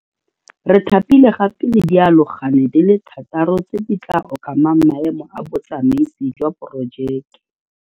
Re thapile gape le dialogane di le thataro tse di tla okamang maemo a botsamaisi jwa porojeke.